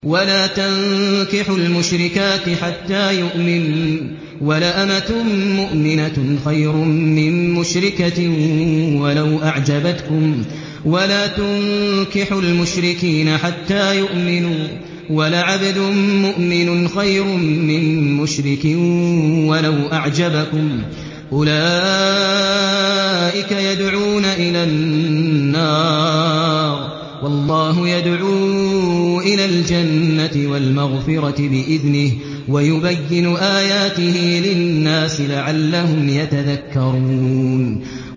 وَلَا تَنكِحُوا الْمُشْرِكَاتِ حَتَّىٰ يُؤْمِنَّ ۚ وَلَأَمَةٌ مُّؤْمِنَةٌ خَيْرٌ مِّن مُّشْرِكَةٍ وَلَوْ أَعْجَبَتْكُمْ ۗ وَلَا تُنكِحُوا الْمُشْرِكِينَ حَتَّىٰ يُؤْمِنُوا ۚ وَلَعَبْدٌ مُّؤْمِنٌ خَيْرٌ مِّن مُّشْرِكٍ وَلَوْ أَعْجَبَكُمْ ۗ أُولَٰئِكَ يَدْعُونَ إِلَى النَّارِ ۖ وَاللَّهُ يَدْعُو إِلَى الْجَنَّةِ وَالْمَغْفِرَةِ بِإِذْنِهِ ۖ وَيُبَيِّنُ آيَاتِهِ لِلنَّاسِ لَعَلَّهُمْ يَتَذَكَّرُونَ